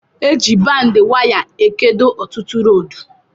Eji baindịn waya ekedo ọtụtụ rọdu